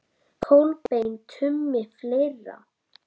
Kolbeinn Tumi Fleira?